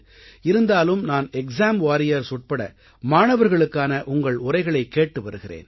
இருந்தாலும் நான் exam warriors உட்பட மாணவர்களுக்கான உங்கள் உரைகளைக் கேட்டு வருகிறேன்